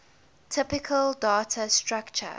typical data structure